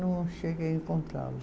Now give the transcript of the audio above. Não cheguei a encontrá-lo.